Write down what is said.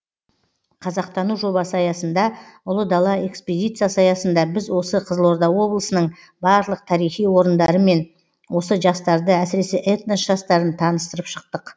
қазақтану жобасы аясында ұлы дала экспедициясы аясында біз осы қызылорда облысының барлық тарихи орындарымен осы жастарды әсіресе этнос жастарын таныстырып шықтық